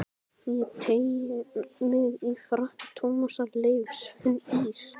Ég teygi mig í frakka Tómasar Leifs, finn ís